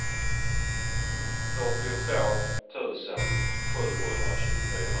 fyrtiotvå tusen sjuhundratjugofyra